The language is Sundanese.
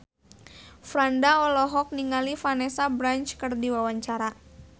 Franda olohok ningali Vanessa Branch keur diwawancara